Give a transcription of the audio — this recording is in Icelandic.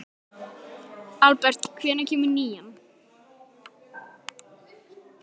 Aðalbert, hvenær kemur nían?